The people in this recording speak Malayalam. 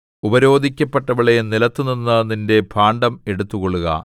ഉപരോധിക്കപ്പെട്ടവളേ നിലത്തുനിന്നു നിന്റെ ഭാണ്ഡം എടുത്തുകൊള്ളുക